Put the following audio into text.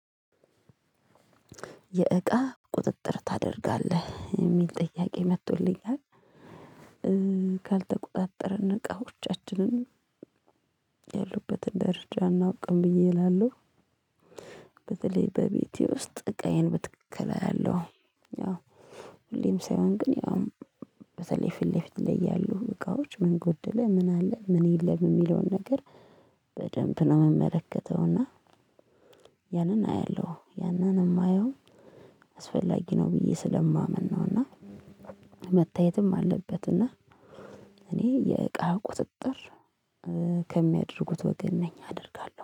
የእቃ ቁጥጥር ታደርጋለህ የሚል ጥያቄ መጥቶልኛል። ካልተቆጣጠርን እቃዎቻችንን ያሉበትን ደረጃ አናውቅም ብዬ እላለሁ። በተለይ በቤቴ ውስጥ እቃዬን በትክክል አያለሁ። ያው ሁሌም ሳይሆን ግን ያው በተለይ ፊት ለፊት ያሉ እቃዎች ምን ጎደለ ምን አለ ምን የለም የሚለውን ነገር። በደንብ ነው የምመለከተው። እና ያንን አያለሁ ያንን የማየው አስፈላጊ ነው ብዬ ስለማምን ነው። እና መታየትም አለበት። እና እኔ የእቃ ቁጥጥር ከሚያደርጉት ወገን ነኝ አደርጋለሁ